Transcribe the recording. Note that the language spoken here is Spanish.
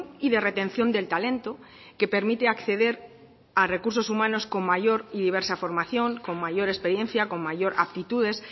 y de retención del talento que permite acceder a recursos humanos con mayor y diversa formación con mayor experiencia con mayor actitudes